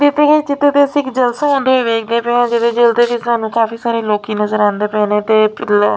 ਦਿੱਤੇ ਹੋਏ ਚਿੱਤਰ ਤੇ ਅਸੀਂ ਜਲਸਾ ਹੁੰਦੇ ਹੋਏ ਵੇਖਦੇ ਪਏ ਆ ਜਿਹਦੇ ਵਿੱਚ ਸਾਨੂੰ ਕਾਫੀ ਸਾਰੇ ਲੋਕੀ ਨਜ਼ਰ ਆਂਦੇ ਪਏ ਨੇ ਤੇ --